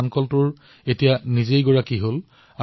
আজি তেওঁলোকে নিজৰ ধানৰ মিল চলাই আছে